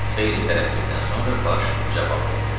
Xeyli tərəddüddən sonra Baş cavab verdi: